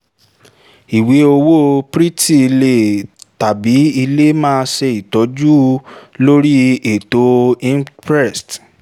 ìwé owó owó petty le tàbí lè má ṣe ìtọ́jú lórí ètò imprest